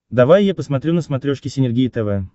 давай я посмотрю на смотрешке синергия тв